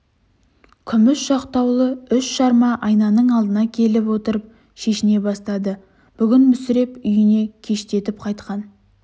күміс жақтаулы үш жарма айнаның алдына келіп отырып шешіне бастады бүгін мүсіреп үйінен кештетіп қайтқан